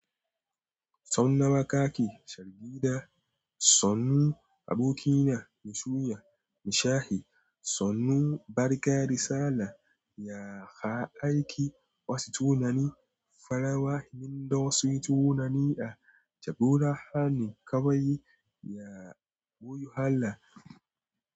Sau nawa ka ki shargida? Sannu abokina, mushiya, nishahi, sannu, barka, salla, ya aiki wasu tunani, farawa, himda wasu tunani a jagora, hani, ƙawaye, ya boyu, halla.